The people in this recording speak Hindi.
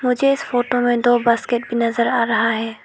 मुझे इस फोटो में दो बास्केट भी नजर आ रहा है।